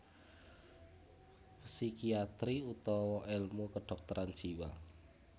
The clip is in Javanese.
Psikiatri utawa èlmu kedhokteran jiwa